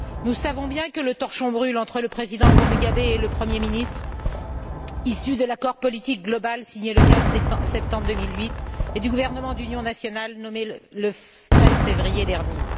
Nous savons bien que le torchon brûle entre le président Mugabe et le Premier ministre issu de l'accord politique global signé le 15 septembre 2008 et du gouvernement d'union nationale nommé le 13 février dernier.